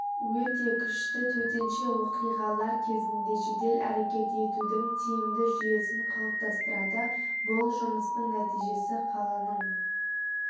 өте күшті төтенше оқиғалар кезінде жедел әрекет етудің тиімді жүйесін қалыптастырады бұл жұмыстың нәтижесі қаланың